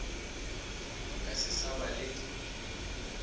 ka se sa ba le